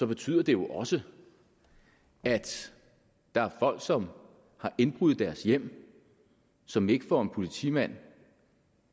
betyder det jo også at der er folk som har indbrud i deres hjem som ikke får en politimand